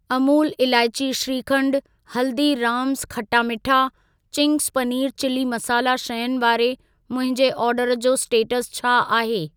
Amul elaichi shrikhand, Haldiram's khatta meetha, Ching's paneer chilli masala शयुनि वारे मुंहिंजे ऑर्डर जो स्टेटस छा आहे?